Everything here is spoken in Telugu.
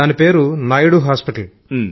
దానిపేరు నాయుడు హాస్పటల్